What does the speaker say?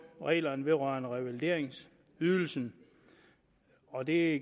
reglerne vedrørende revalideringsydelsen og det